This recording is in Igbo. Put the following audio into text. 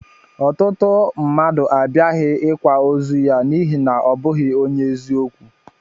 Ọtụtụ mmadụ abiaghi ikwa ozu ya n'ihi na ọ bụghị onye eziokwu